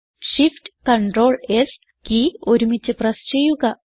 shift Ctrl S key ഒരുമിച്ച് press ചെയ്യുക